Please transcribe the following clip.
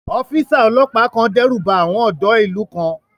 Ọ́físà ọlọ́pàá kan dẹ́rùba àwọn ọ̀dọ́ ìlú kan